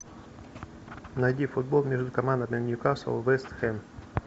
найди футбол между командами ньюкасл вест хэм